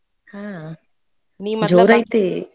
ಹು ಜೋರೈತಿ.